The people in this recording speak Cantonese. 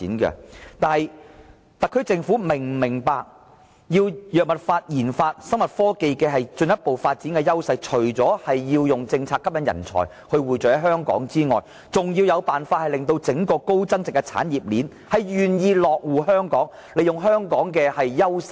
但是，特區政府是否明白，進一步發展藥物研發、生物科技的優勢，除了制訂政策吸引人才匯聚在香港外，還要設法令整個高增長的產業鏈願意在香港落戶，利用香港的優勢。